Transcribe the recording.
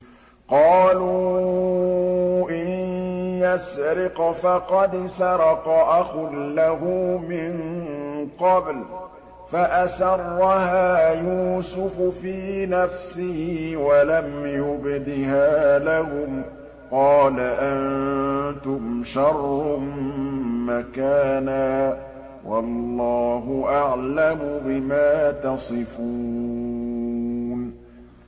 ۞ قَالُوا إِن يَسْرِقْ فَقَدْ سَرَقَ أَخٌ لَّهُ مِن قَبْلُ ۚ فَأَسَرَّهَا يُوسُفُ فِي نَفْسِهِ وَلَمْ يُبْدِهَا لَهُمْ ۚ قَالَ أَنتُمْ شَرٌّ مَّكَانًا ۖ وَاللَّهُ أَعْلَمُ بِمَا تَصِفُونَ